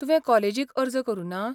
तुवें कॉलेजीक अर्ज करुना?